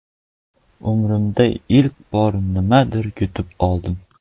Umrimda ilk bor nimadir yutib oldim!